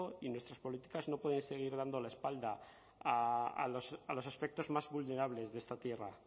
y nuestras políticas no pueden seguir dando la espalda a los aspectos más vulnerables de esta tierra